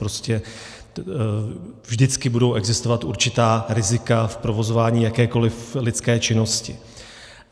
Prostě vždycky budou existovat určitá rizika v provozování jakékoliv lidské činnosti.